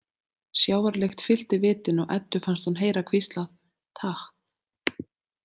Sjávarlykt fyllti vitin og Eddu fannst hún heyra hvíslað: „Takk“